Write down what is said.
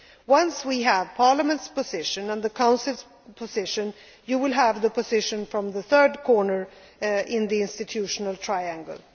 it may be. Once we have Parliament's and the Council's positions, you will have the position from the third corner in the institutional